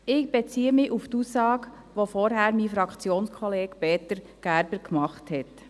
Ich beziehe mich auf die Aussage, die mein Fraktionskollege, Peter Gerber, vorhin gemacht hat.